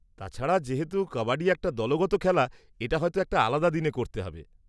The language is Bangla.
তাছাড়া, যেহেতু কাবাডি একটা দলগত খেলা, এটা হয়ত একটা আলাদা দিনে করতে হবে।